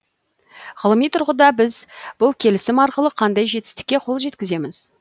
ғылыми тұрғыда біз бұл келісім арқылы қандай жетістікке қол жеткіземіз